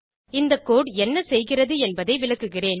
இந்த கோடு என்ன செய்கிறது என்பதை விளக்குகிறேன்